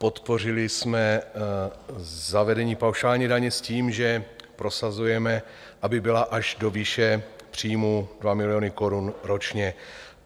Podpořili jsme zavedení paušální daně s tím, že prosazujeme, aby byla až do výše příjmů 2 miliony korun ročně.